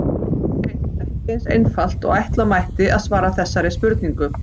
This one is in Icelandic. Það er hreint ekki eins einfalt og ætla mætti að svara þessari spurningu.